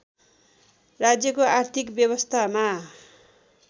राज्यको आर्थिक व्यवस्थामा